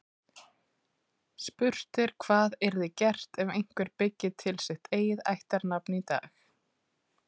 Spurt er hvað yrði gert ef einhver byggi til sitt eigið ættarnafn í dag.